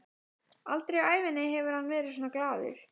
Aldrei á ævinni hefur hann verið svona glaður.